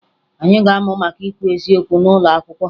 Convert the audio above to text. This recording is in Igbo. Anyị ga-amụ maka ikwu eziokwu n'ụlọ akwụkwọ